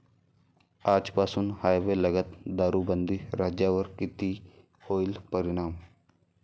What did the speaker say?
आजपासून हायवे लगत दारूबंदी, राज्यावर किती होईल परिणाम?